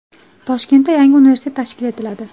Toshkentda yangi universitet tashkil etiladi.